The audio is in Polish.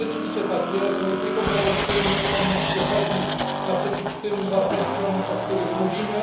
I rzeczywiście tak jest, on jest niekontrowersyjny, wychodzi naprzeciw tym wartościom, o których mówimy.